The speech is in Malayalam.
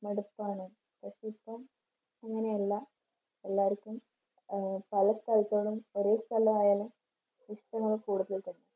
മടുപ്പാണ്. പക്ഷേ ഇപ്പം അങ്ങനെയല്ല. എല്ലാർക്കും ആഹ് പല സ്ഥലത്താണേലും ഒരേ സ്ഥലം ആയാലും ഇഷ്ടമാണ് കൂടുതൽ